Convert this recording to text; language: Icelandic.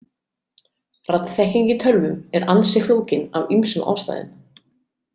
Raddþekking í tölvum er ansi flókin af ýmsum ástæðum.